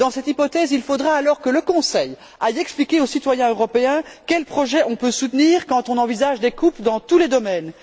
Dans cette hypothèse, il faudra alors que le Conseil explique aux citoyens européens quels projets on peut soutenir quand on envisage des coupes dans tous les domaines.